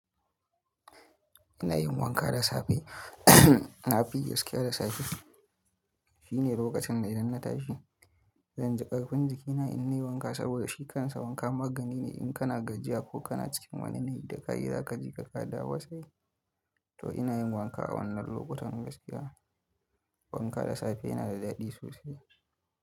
Ina yin wanka da safe. Na fi yi gaskiya da safe. Shine lokacin da idan na tashi zan ji ƙarfin jikina in yi wanka sabida shi kansa wanka magani ne in kana gajiya ko kana cikin wani da kayi zaka jika ka dawowasai. To ina yin wanka a wannan lokutan gaskiya. Wanka da safe yana da daɗi sosai.